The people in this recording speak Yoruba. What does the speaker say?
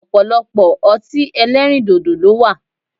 Ọ̀pọ̀lọpọ̀ ọtí ẹlẹ́rìndòdò ló wà